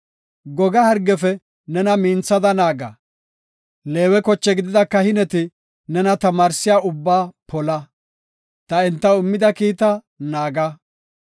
Goga hargefe nena minthada naaga; Leewe koche gidida kahineti nena tamaarsiya ubbaa pola; ta entaw immida kiita naaga.